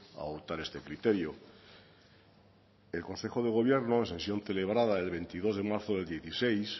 a adoptar este criterio el consejo de gobierno en sesión celebrada el veintidós de marzo del dieciséis